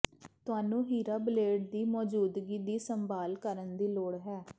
ਤੁਹਾਨੂੰ ਹੀਰਾ ਬਲੇਡ ਦੀ ਮੌਜੂਦਗੀ ਦੀ ਸੰਭਾਲ ਕਰਨ ਦੀ ਲੋੜ ਹੈ